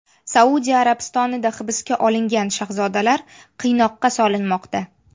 Saudiya Arabistonida hibsga olingan shahzodalar qiynoqqa solinmoqda.